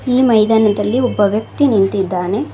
ಈ ಮೈದಾನದಲ್ಲಿ ಒಬ್ಬ ವ್ಯಕ್ತಿ ನಿಂತಿದ್ದಾನೆ.